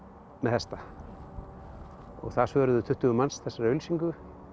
með hesta og það svöruðu tuttugu manns þessari auglýsingu